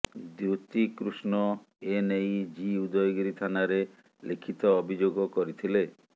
ଦ୍ବିତୀ କୃଷ୍ଣ ଏନେଇ ଜି ଉଦୟଗିରି ଥାନାରେ ଲିଖିତ ଅଭିଯୋଗ କରିଥିଲେ